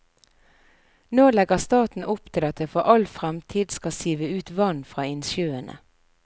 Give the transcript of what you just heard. Nå legger staten opp til at det for all fremtid skal sive ut vann fra innsjøene.